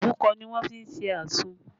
Òbúkọ ni wọ́n fi ṣe àsun